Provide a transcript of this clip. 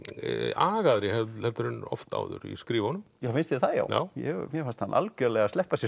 agaðri en oft áður í skrifunum finnst þér það já já já mér fannst hann algjörlega sleppa sér